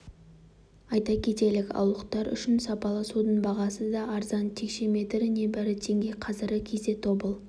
айта кетелік ауылдықтар үшін сапалы судың бағасы да арзан текше метрі небәрі теңге қазіргі кезде тобыл